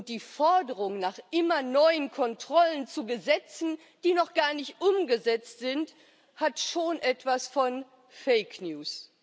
Die Forderung nach immer neuen Kontrollen zu Gesetzen, die noch gar nicht umgesetzt sind, hat schon etwas von Fake News.